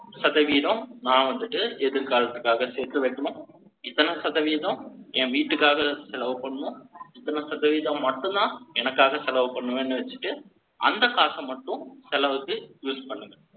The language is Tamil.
சதவீதம், நான் வந்துட்டு, எதிர்காலத்துக்காக, சேர்த்து வைக்கணும் இத்தனைசதவீதம், என் வீட்டுக்காக, செலவு பண்ணோம். இத்தனை சதவீதம் மட்டும்தான், எனக்காக, செலவு பண்ணுவேன்னு வச்சுட்டு, அந்த காசை மட்டும், செலவுக்கு, use பண்ணுங்க